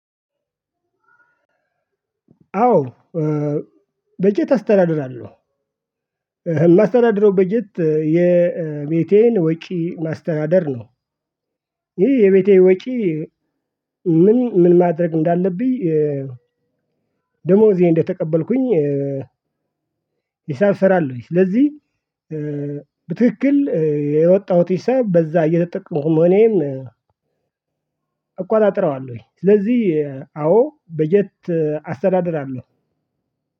አዎ። በጀት አስተዳድራለሁ እማስተዳድረው በጀት የቤቴን ወጪ ማስተዳደር ነው። ይህ የቤቴ ወጭ። ምን ምን ማድረግ እንዳለብኝ ደሞዜ እንደተቀበልኩኝ ሂሳብ እሰራለሁኝ። ስለዚህ በትክክል ያወጣሁት ሂሳብ በዛ እየተጠቀሙ መሆኔን እቆጣጥረዋለሁኝ። ስለዚህ አዎ በጀት አስተዳደራለሁ።